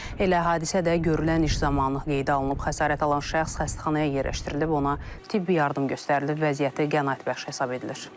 Elə hadisə də görülən iş zamanı qeydə alınıb, xəsarət alan şəxs xəstəxanaya yerləşdirilib, ona tibbi yardım göstərilib, vəziyyəti qənaətbəxş hesab edilir.